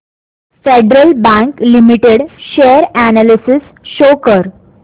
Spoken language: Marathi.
federal Bank Limited share analysis show कर